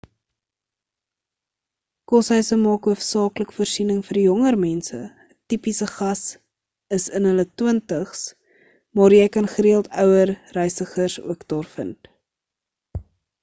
koshuise maak hoofsaaklik voorsiening vir jonger mense - 'n tipiese gas is in hulle twintigs maar jy kan gereëld ouer reisigers ook daar vind